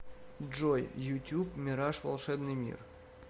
джой ютюб мираж волшебный мир